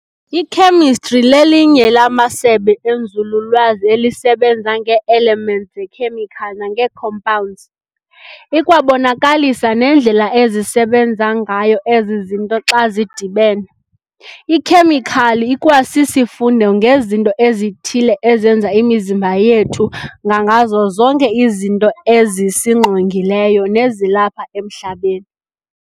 Ikhemestri lelinye lamasebe enzululwazi elisebenza ngee-elements zekhemical nangee-compounds, ikwabonakalisa nendlela ezisebenza ngayo ezi zinto xa zidibene. Ikhemikhali ikwasisifundo ngezinto ezithile ezenza imizimba yethu ngangazo zonke izinto ezisingqongileyo nezilapha emhlabeni.